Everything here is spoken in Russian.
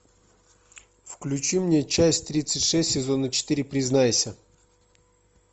включи мне часть тридцать шесть сезона четыре признайся